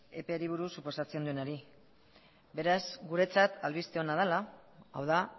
eperi buruz suposatzen denari beraz guretzat albiste ona dela hau da